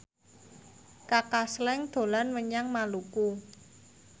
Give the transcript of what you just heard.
Kaka Slank dolan menyang Maluku